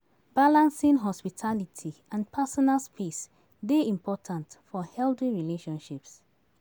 Balancing hospitality and personal space dey important for healthy relationships.